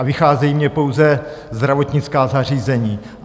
A vycházejí mně pouze zdravotnická zařízení.